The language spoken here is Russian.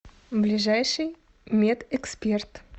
ближайший медэксперт